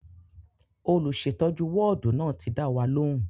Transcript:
Olùsètọ́jú wọ́ọ̀dù náà ti dá wa lóhùn